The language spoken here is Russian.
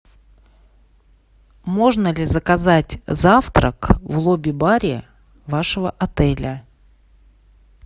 можно ли заказать завтрак в лобби баре вашего отеля